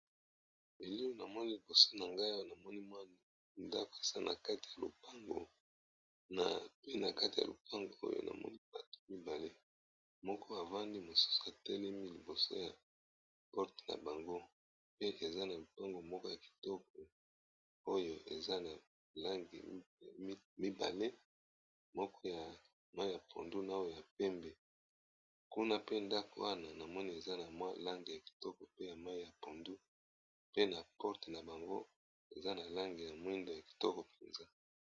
Elili na moni liboso na nga awa na moni mwa ndako eza pe na kati ya lopango pe na kati ya lopango oyo na moni batu mibale moko avandi mosusu atelemi liboso ya porte na bango pe eza na lopango moko ya kitoko oyo eza na langi mibale moko ya mai ya pondu na oyo ya pembe kuna pe ndako wana na moni eza na mwa langi ya kitoko pe ya mai ya pondu pe na porte na bango eza na langi ya moindo ya kitoko mpenza.